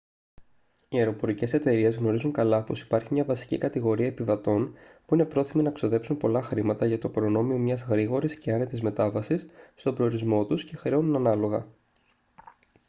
οι αεροπορικές εταιρείες γνωρίζουν καλά πως υπάρχει μια βασική κατηγορία επιβατών που είναι πρόθυμοι να ξοδέψουν πολλά χρήματα για το προνόμιο μιας γρήγορης και άνετης μετάβασης στον προορισμό τους και χρεώνουν ανάλογα